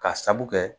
Ka sabu kɛ